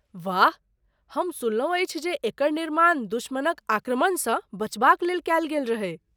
वाह! हम सुनलहुँ अछि जे एकर निर्माण दुश्मनक आक्रमणसँ बचबाक लेल कयल गेल रहै।